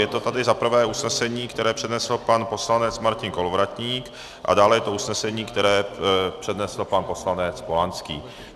Je to tady za prvé usnesení, které přednesl pan poslanec Martin Kolovratník, a dále je to usnesení, které přednesl pan poslanec Polanský.